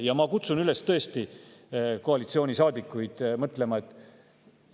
Ja ma kutsun tõesti koalitsioonisaadikuid üles mõtlema.